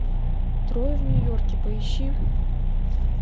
трое в нью йорке поищи